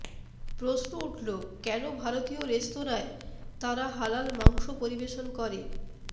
প্রশ্ন উঠল কেন ভারতীয় রেস্তোরাঁয় তারা হালাল মাংস পরিবেশন করে